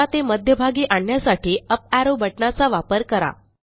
आता ते मध्यभागी आणण्यासाठी अप एरो बटणाचा वापर करा